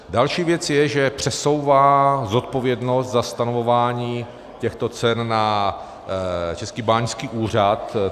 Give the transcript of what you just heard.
Další věc je, že přesouvá zodpovědnost za stanovování těchto cen na Český báňský úřad.